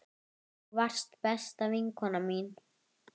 Þú varst besta vinkona mín.